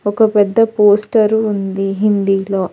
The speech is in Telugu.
ఒక పెద్ద పోస్టర్ ఉంది హిందీలో.